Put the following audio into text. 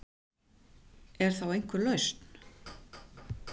Er þá einhver lausn